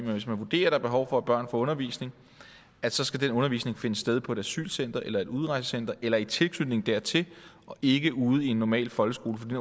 hvis man vurderer at der behov for at børn får undervisning så skal den undervisning finde sted på et asylcenter eller et udrejsecenter eller i tilknytning dertil og ikke ude i en normal folkeskolen fordi